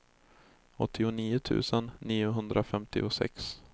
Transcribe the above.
åttionio tusen niohundrafemtiosex